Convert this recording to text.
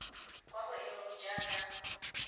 kwa go e nngwe jaaka